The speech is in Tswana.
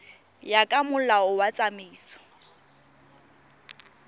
ya ka molao wa tsamaiso